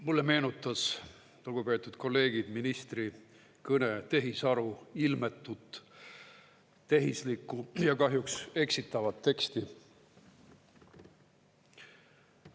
Mulle meenutas, lugupeetud kolleegid, ministri kõne tehisaru ilmetut, tehislikku ja kahjuks eksitavat teksti.